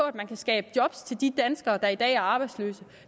at man kan skabe job til de danskere der i dag er arbejdsløse